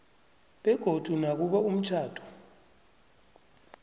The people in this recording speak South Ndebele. begodu nakube umtjhado